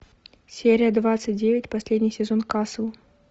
серия двадцать девять последний сезон касл